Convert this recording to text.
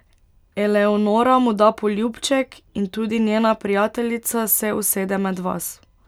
Eleonora mu da poljubček in tudi njena prijateljica se usede med vas.